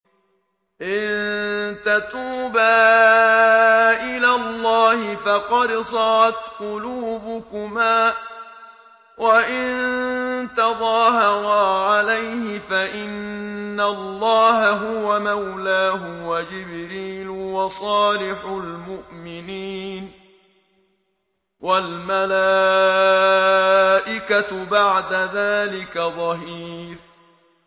إِن تَتُوبَا إِلَى اللَّهِ فَقَدْ صَغَتْ قُلُوبُكُمَا ۖ وَإِن تَظَاهَرَا عَلَيْهِ فَإِنَّ اللَّهَ هُوَ مَوْلَاهُ وَجِبْرِيلُ وَصَالِحُ الْمُؤْمِنِينَ ۖ وَالْمَلَائِكَةُ بَعْدَ ذَٰلِكَ ظَهِيرٌ